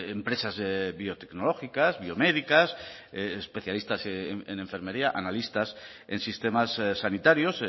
empresas biotecnológicas biomédicas especialistas en enfermería analistas en sistemas sanitarios